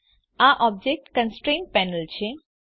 આ object constraints panel છે